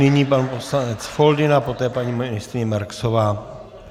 Nyní pan poslanec Foldyna, poté paní ministryně Marksová.